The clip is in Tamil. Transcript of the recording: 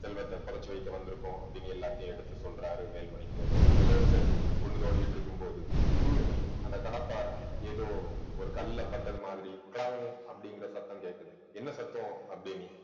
செல்வத்தை புதைச்சு வைக்க வந்திருக்கோம் அப்படின்னு எல்லாத்தையும் எடுத்து சொல்றாரு வேல்மணி தேவர் எல்லாரும் சேர்ந்து குழி தோண்டிட்டு இருக்கும்போது திடீர்ன்னு அந்த கடப்பாரை ஏதோ ஒரு கல்லுல பட்டது மாதிரி கிளங் அப்படிங்கற சத்தம் கேட்குது என்ன சத்தம் அப்படின்னு